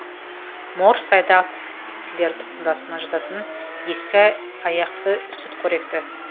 морж сайдақ тістілер тұқымдасына жататын ескек аяқты сүтқоректі